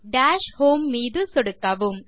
dash home மீது சொடுக்கவும்